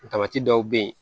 dɔw bɛ yen